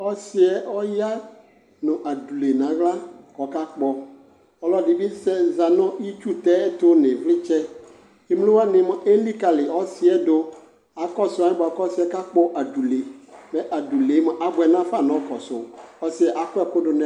Ɔsɩ yɛ ɔya nʋ adule nʋ aɣla kʋ ɔkakpɔ Ɔlɔdɩ bɩ sɛ za nʋ itsutɛ tʋ nʋ ɩvlɩtsɛ kʋ emlo wanɩ elikali ɔsɩ yɛ dʋ Akɔsʋ alɛna yɛ ɔsɩ yɛ kakpɔ adule Mɛ adule yɛ mʋa, abʋɛ nafa nʋ ɔkɔsʋ Ɔsɩ yɛ akɔ ɛkʋ dʋ nʋ ɛlʋ